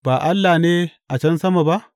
Ba Allah ne a can sama ba?